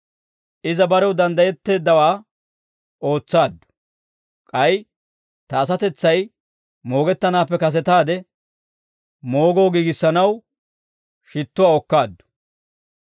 Iza barew danddayetteeddawaa ootsaaddu; k'ay ta asatetsay moogettanaappe kasetaade moogoo giigissanaw shittuwaa okkaaddu.